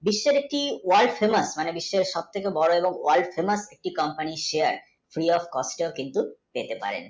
যথা রীতি world famous মানে বিশ্বের সব থেকে বড় এবং world, famous যে company র share আপনি কিন্তু পেতে পারে।